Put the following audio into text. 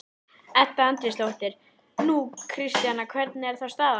Edda Andrésdóttir: Nú, Kristjana, hvernig er þá staðan?